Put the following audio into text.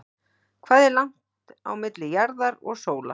Hvað er langt á milli jarðar og sólar?